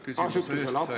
Aitäh küsimuste eest!